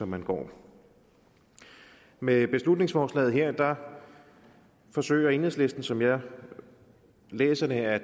man går med beslutningsforslaget her forsøger enhedslisten som jeg læser det at